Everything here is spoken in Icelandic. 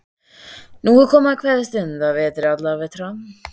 Nú er komið að kveðjustund á vetri allra vetra.